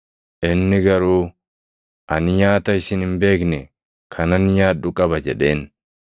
Inni garuu, “Ani nyaata isin hin beekne kanan nyaadhu qaba” jedheen.